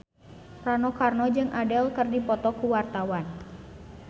Rano Karno jeung Adele keur dipoto ku wartawan